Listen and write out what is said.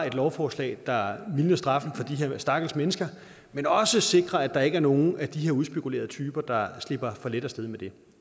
et lovforslag der mildner straffen for de her stakkels mennesker men også sikrer at der ikke er nogen af de her udspekulerede typer der slipper for let af sted med det